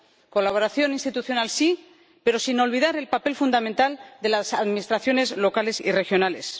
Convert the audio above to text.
Colaboración institucional sí, pero sin olvidar el papel fundamental de las administraciones locales y regionales.